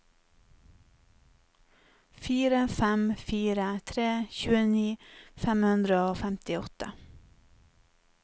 fire fem fire tre tjueni fem hundre og femtiåtte